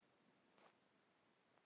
Aðeins of erfitt.